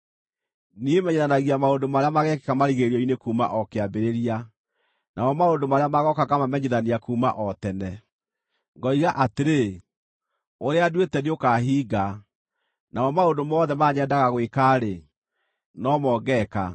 Niĩ menyithanagia maũndũ marĩa mageekĩka marigĩrĩrio-inĩ kuuma o kĩambĩrĩria, namo maũndũ marĩa magooka ngamamenyithania kuuma o tene. Ngoiga atĩrĩ: Ũrĩa nduĩte nĩũkahinga, namo maũndũ mothe marĩa nyendaga gwĩka-rĩ, no mo ngeeka.